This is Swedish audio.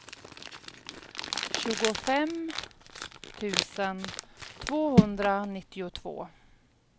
tjugofem tusen tvåhundranittiotvå